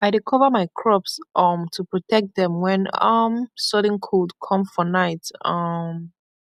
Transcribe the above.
i dey cover my crops um to protect dem when um sudden cold come for night um